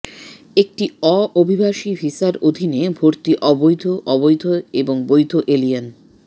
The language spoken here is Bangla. একটি অ অভিবাসী ভিসার অধীনে ভর্তি অবৈধ অবৈধ এবং বৈধ এলিয়েন